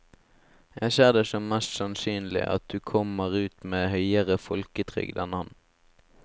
Jeg ser det som mest sannsynlig at du kommer ut med høyere folketrygd enn han.